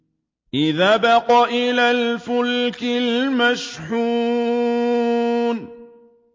إِذْ أَبَقَ إِلَى الْفُلْكِ الْمَشْحُونِ